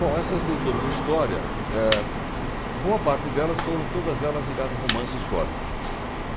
Bom, essas leituras de história, eh, boa parte delas foram todas elas ligadas a romances históricos.